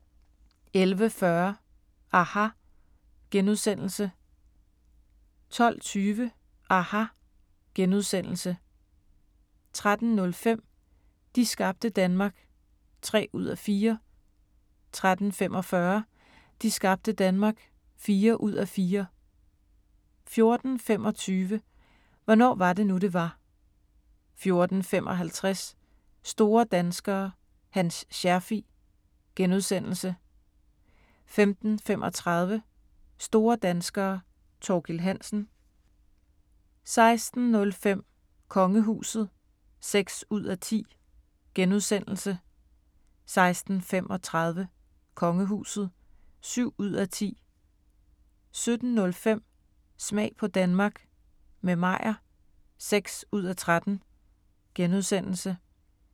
11:40: aHA! * 12:20: aHA! * 13:05: De skabte Danmark (3:4) 13:45: De skabte Danmark (4:4) 14:25: Hvornår var det nu, det var? 14:55: Store danskere – Hans Scherfig * 15:35: Store danskere – Thorkild Hansen 16:05: Kongehuset (6:10)* 16:35: Kongehuset (7:10) 17:05: Smag på Danmark – med Meyer (6:13)*